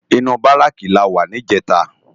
Inú báráki làwá nijètá